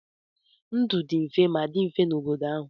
Ndụ dị mfe ma dị mfe n'obodo ahụ.